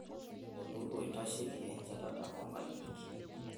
Olturur oitasheiki enchetaka orkijijini.